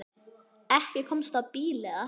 Ekki komstu á bíl eða hvað?